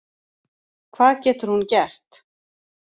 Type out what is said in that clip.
Hvað getur hún gert